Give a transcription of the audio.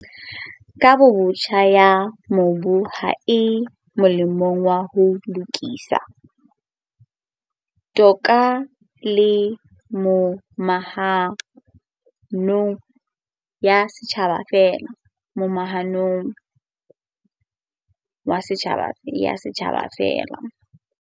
Kabobotjha ya mobu ha e molemong wa ho lokisa, toka le momahano ya setjhaba feela.